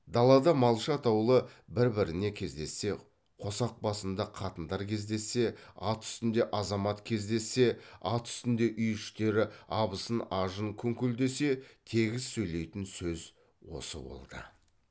далада малшы атаулы бір біріне кездессе қосақ басында қатындар кездессе ат үстінде азамат кездессе ат үстінде үй іштері абысын ажын күңкілдессе тегіс сөйлейтін сөз осы болды